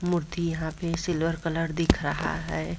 मूर्ति यहाँ पे silver colour दिख रहा है ।